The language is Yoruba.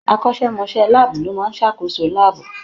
Akọ́ṣẹ́mọṣẹ́ láàbù ló máa ń ṣàkóso láàbù.